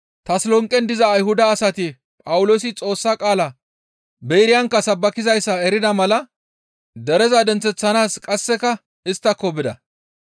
Tasolonqen diza Ayhuda asati Phawuloosi Xoossa qaalaa Beeriyankka sabbakizayssa erida mala dereza denththeththanaas qasseka isttako bida.